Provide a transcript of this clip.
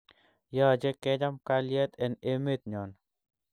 Yache kkecham kalyet en emet nyon